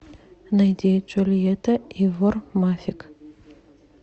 найди джульетта и вор мафик